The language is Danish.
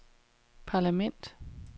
parlament